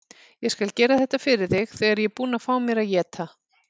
Ég skal gera þetta fyrir þig þegar ég er búinn að fá mér að éta.